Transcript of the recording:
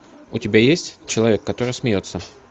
у тебя есть человек который смеется